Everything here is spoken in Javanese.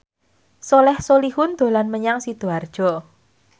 Soleh Solihun dolan menyang Sidoarjo